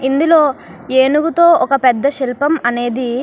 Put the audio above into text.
ఇందులో ఏనుగుతో ఒక పెద్ద శిల్పం అనేది --